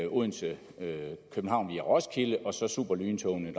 odense københavn via roskilde og superlyntogene